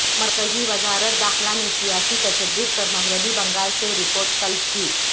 مرکزی وزارت داخلہ نے سیاسی تشدد پر مغربی بنگال سے رپورٹ طلب کی